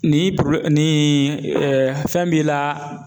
Ni ni fɛn b'i la